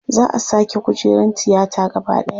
Za a sake kujerun tiyata gaba ɗaya.